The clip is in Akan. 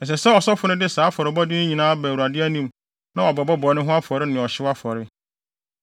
“Ɛsɛ sɛ Ɔsɔfo no de saa afɔrebɔde yi nyinaa ba Awurade anim na wabɛbɔ bɔne ho afɔre ne ɔhyew afɔre.